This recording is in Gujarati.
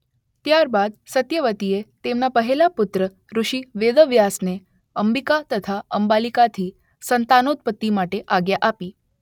ત્યાર બાદ સત્યવતીએ તેમના પહેલા પુત્ર ઋષિ વેદવ્યાસને અંબીકા તથા અંબાલીકાથી સંતાનોત્પત્તિ માટે આજ્ઞા આપી.